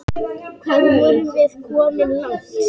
Hvað vorum við komin langt?